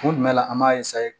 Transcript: Don jumɛn la an b'a